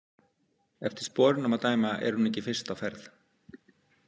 Eftir sporunum að dæma er hún ekki fyrst á ferð.